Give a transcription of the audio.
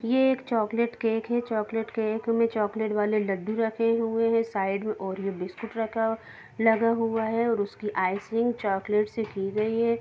ये एक chocolate cake है चॉकलेट केक में चॉकलेट वाले लड्डू रखे हुए है साइड में ओरियो बिस्कुट रखा लगा हुआ है और उसकी आइसिंग चॉकलेट से की गई है।